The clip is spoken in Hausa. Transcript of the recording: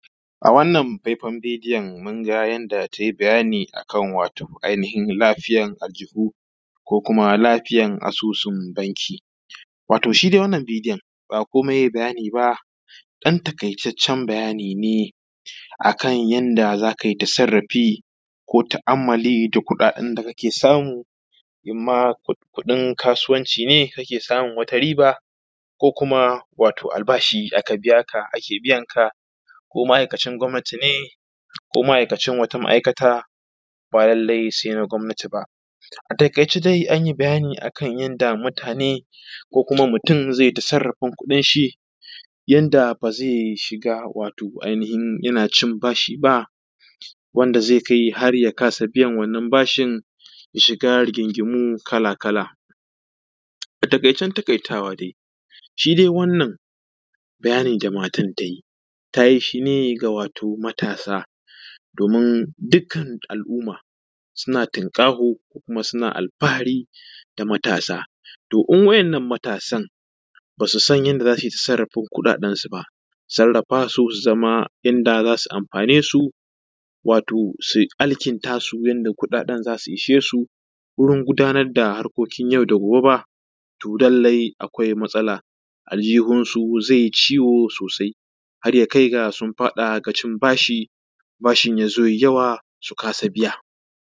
A wannan faifan bidiyon mun ga yadda tai bayani a kan ainihin lafiyar ajihu ko lafiyar asusun banki. Wato shi dai wannan bidiyo ɗan takaitaccen bayani ne akan yadda za ka yi ɗan tasarrafi ko ta'ammali da kuɗaɗen da kake samu, in ma kuɗin kasuwanci ne kake samun wata riba ko kuma albashi aka biya ka ko ake biyanka ko ma'aikacin gwamnatin ne ko ma'aikacin wata ma'aikata ba lallai sai na gwamnatin ba. A takaice an yi bayani akan yadda mutane ko kuma mutum zai tasarrafin kuɗin shi yadda ba zai shiga wato ainihin yana cin ba shi ba wanda zai kai har ya kasa bayan wannan bashin ya shiga rigingimu kala-kala. A taƙaicen takaitawa shi dai wannan ɗan bayani da matan nan ta yi, ta yi shi ga wato matasa waton dukkan al'umma suna tunƙaho kuma suna alfahari da matasa kuma idan wanɗannan matasan ba su san yadda za su sarrafa kuɗaɗensu ba su sarrafa su, su zama inda za su amfane su wato su alkintasu yadda kuɗaɗen za su ishe su don gudanar da harkokin yau da gobe to lallai akwai matsala aljihunsu zai yi ciwo sosai har ya kai ga sun fada ga cin bashin bashin ya zo ya yi yawa su kasa biya.